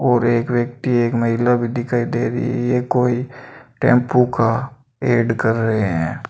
और एक व्यक्ति एक महिला भी दिखाई दे रही है कोई टेंपू का ऐड कर रहे हैं।